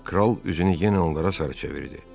Kral üzünü yenə onlara sarı çevirdi.